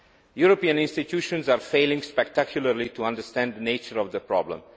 European institutions are failing spectacularly to understand the nature of the problem.